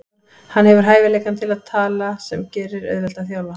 Hann hefur hæfileikann til að tala sem gerir auðvelt að þjálfa hann.